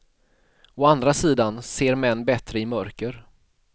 Å andra sidan ser män bättre i mörker.